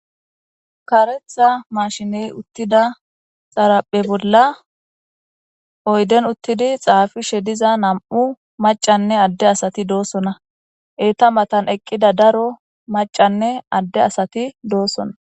Kareththa mashine utiday xaraphe bolla oyideni utidi xafishe diza na'mu macanne Ade asati dosona. Eta matani daro macanne Ade asati dosona.